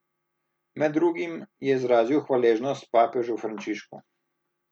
Med drugim je izrazil hvaležnost papežu Frančišku.